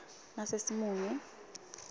nasesimunye